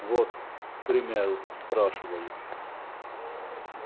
вот к примеру спрашиваю